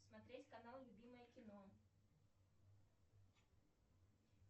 смотреть канал любимое кино